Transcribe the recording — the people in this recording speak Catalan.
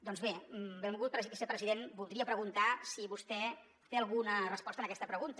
doncs bé benvolgut vicepresident voldria preguntar si vostè té alguna resposta a aquesta pregunta